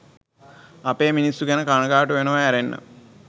අපේ මිනිස්සු ගැන කණගාටු වෙනව ඇරෙන්න